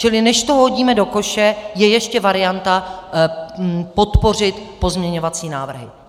Čili než to hodíme do koše, je ještě varianta podpořit pozměňovací návrhy.